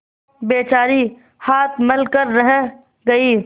बेचारी हाथ मल कर रह गयी